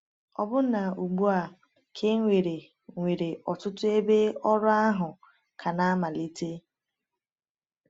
Ọbụna ugbu a, ka e nwere nwere ọtụtụ ebe ọrụ ahụ ka na-amalite.